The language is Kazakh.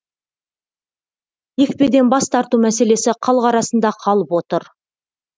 екпеден бас тарту мәселесі халық арасында қалып отыр